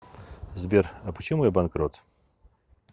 сбер а почему я банкрот